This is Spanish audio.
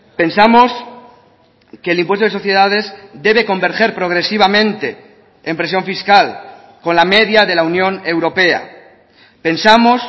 pensamos que el impuesto de sociedades debe converger progresivamente en presión fiscal con la media de la unión europea pensamos